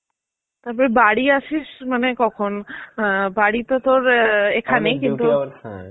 তারপর বাড়ি আসিস মানে কখন? আঁ বাড়ি তো তোর